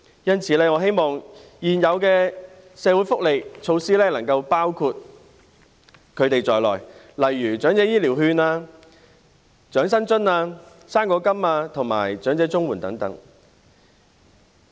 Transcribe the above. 因此，我希望現有的社會福利措施能夠涵蓋他們，例如長者醫療券、長者生活津貼、"生果金"及長者綜援等。